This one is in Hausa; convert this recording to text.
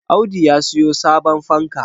Audu ya siyo sabon fanka